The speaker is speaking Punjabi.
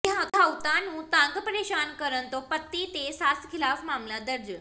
ਵਿਆਹੁਤਾ ਨੂੰ ਤੰਗ ਪੇ੍ਰਸ਼ਾਨ ਕਰਨ ਤੋਂ ਪਤੀ ਤੇ ਸੱਸ ਿਖ਼ਲਾਫ਼ ਮਾਮਲਾ ਦਰਜ